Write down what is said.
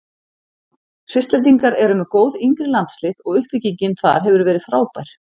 Svisslendingar eru með góð yngri landslið og uppbyggingin þar hefur verið frábær.